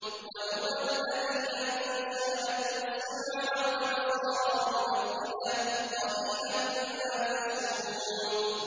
وَهُوَ الَّذِي أَنشَأَ لَكُمُ السَّمْعَ وَالْأَبْصَارَ وَالْأَفْئِدَةَ ۚ قَلِيلًا مَّا تَشْكُرُونَ